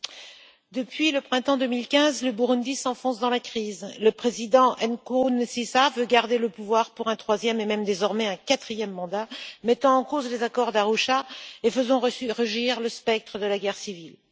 Madame la Présidente, depuis le printemps 2015, le Burundi s'enfonce dans la crise. Le président Nkurunziza veut garder le pouvoir pour un troisième et même, désormais, un quatrième mandat, remettant en cause les accords d'Arusha et faisant resurgir le spectre de la guerre civile.